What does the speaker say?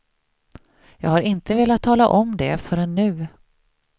Jag har inte velat tala om det förrän nu.